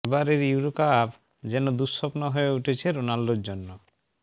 এবারের Euro cup যেন দুঃস্বপ্ন হয়ে উঠেছে রোনাল্ডোর জন্য